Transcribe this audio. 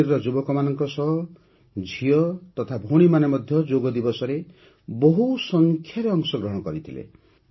କାଶ୍ମୀରର ଯୁବକମାନଙ୍କ ସହ ଝିଅ ତଥା ଭଉଣୀମାନେ ମଧ୍ୟ ଯୋଗ ଦିବସରେ ବହୁସଂଖ୍ୟାରେ ଅଂଶଗ୍ରହଣ କରିଥିଲେ